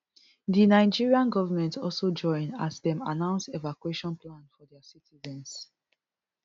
di nigerian government also join as dem announce evacuation plan for dia citizens